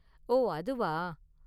ஓ, அதுவா?